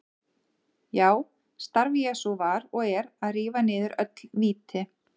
Já, starf Jesú var og er að rífa niður öll víti.